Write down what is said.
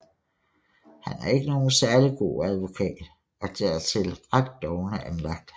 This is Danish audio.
Han er ikke nogen særlig god advokat og dertil ret doven anlagt